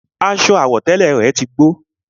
Aṣọ àwọ̀tẹ́lẹ̀ rẹ̀ tí gbó